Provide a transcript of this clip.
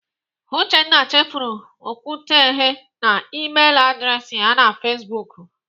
Uchenna chefuru okwuntughe na Email adreesị ya na Facebook.